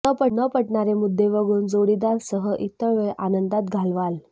न पटणारे मुद्दे वगळून जोडीदारासह इतर वेळ आनंदात घालवाल